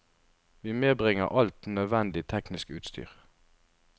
Vi medbringer alt nødvendig teknisk utstyr.